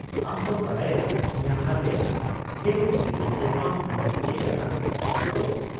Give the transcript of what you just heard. -ᱟᱢ ᱛᱚᱢ ᱵᱟᱰᱟᱭᱟ ᱤᱧᱟᱹᱜ ᱦᱟᱞᱮ ᱑᱘ ᱥᱮᱨᱢᱟ ᱩᱢᱮᱨ ᱦᱩᱭ ᱟᱠᱟᱱᱟ, ᱛᱟᱭ ᱛᱚ ?